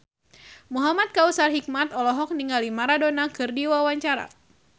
Muhamad Kautsar Hikmat olohok ningali Maradona keur diwawancara